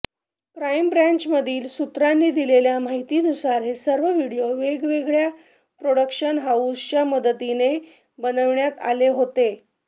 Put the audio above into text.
crime ब्रान्चमधील सुत्रांनी दिलेल्या माहितीनुसार हे सर्व व्हिडिओ वेगवेगळ्या प्रॉडक्शन हाऊसच्या मदतीने बनवण्यात आले होते